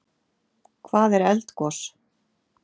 Hvað er eldgos?